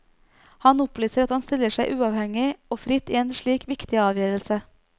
Han opplyser at han stiller seg uavhengig og fritt i en slik viktig avgjørelse.